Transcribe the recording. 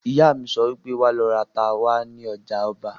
Ìyá mi sọ wípé "Wà lọ ra ata wá ní ọjà ọba"!